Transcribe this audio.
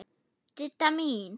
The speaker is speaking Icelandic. Didda mín.